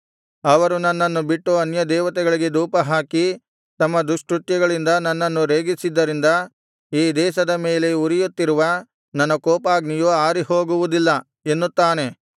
ಅವರು ನನ್ನನ್ನು ಬಿಟ್ಟು ಅನ್ಯ ದೇವತೆಗಳಿಗೆ ಧೂಪಹಾಕಿ ತಮ್ಮ ದುಷ್ಕೃತ್ಯಗಳಿಂದ ನನ್ನನ್ನು ರೇಗಿಸಿದ್ದರಿಂದ ಈ ದೇಶದ ಮೇಲೆ ಉರಿಯುತ್ತಿರುವ ನನ್ನ ಕೋಪಾಗ್ನಿಯು ಆರಿಹೋಗುವುದಿಲ್ಲ ಎನ್ನುತ್ತಾನೆ